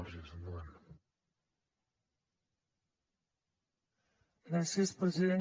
gràcies president